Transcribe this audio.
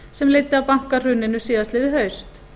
sem leiddi af bankahruninu síðastliðið haust